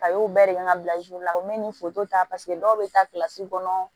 A y'o bɛɛ de kɛ ka bila la u mɛ ni foto ta dɔw bɛ taa kɔnɔ